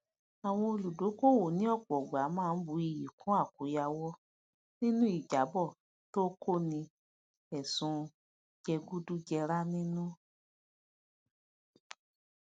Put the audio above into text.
àwọn olùdókòwò ni òpò ìgbà ma n bù ìyí kún àkoyawo ninu ijabọ to koni ẹsùn jegudujera ninu